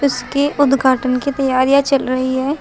इसके उद्घाटन की तैयारियां चल रही हैं।